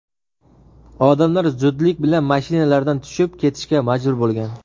Odamlar zudlik bilan mashinalardan tushib ketishga majbur bo‘lgan.